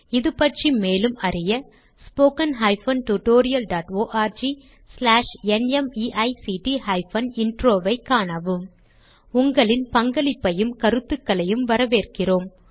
இது பற்றி மேலும் அறிய httpspoken tutorialorgNMEICT Intro ஐக் காணவும் உங்களின் பங்களிப்பையும் கருத்துகளையும் வரவேற்கிறோம்